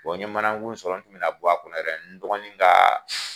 n ye manankun sɔrɔ n tun bɛna bɔ a kɔnɔ yɛrɛ n dɔgɔnin kaa